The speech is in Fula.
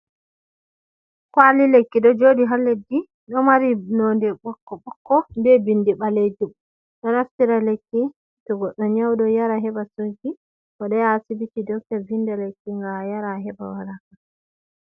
Kwali lekki do jodi ha leddi do mari nonde bokko bokko be bindi balejum, do naftira lekki to goddo nyaudo yara heba sauki bo do yaha asibiti doctor vinde lakki nga yara heba waraka.